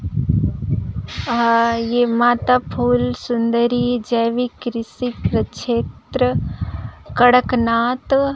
अ ये माता फूल सुन्दरी जैविक कृषि क्षेत्र कड़क नाथ हब --